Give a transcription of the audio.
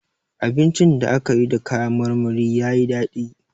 Abincin da aka yi da kayan marmari ya yi dadi.